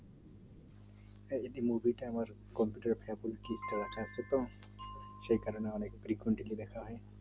হ্যাঁ এই যে movie টা সেই কারণে আমি দেখা হয়